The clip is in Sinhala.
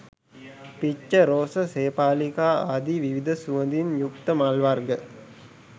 පිච්ච, රෝස, සේපාලිකා ආදි විවිධ සුවඳින් යුක්ත මල් වර්ග